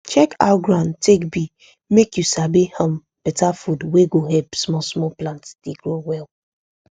check how ground take be make you sabi um beta food wey go help small small plants dey grow well